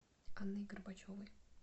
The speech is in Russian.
анной горбачевой